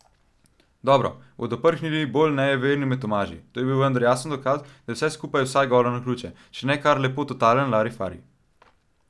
Dobro, bodo prhnili bolj nejeverni med Tomaži, to je vendar jasen dokaz, da je vse skupaj vsaj golo naključje, če ne kar lepo totalen larifari!